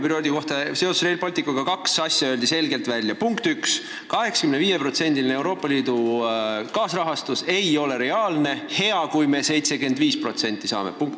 Punkt üks: Euroopa Liidu kaasrahastus 85% ulatuses ei ole reaalne, hea, kui me 75% saame.